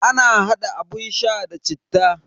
Ana hada abun sha da citta.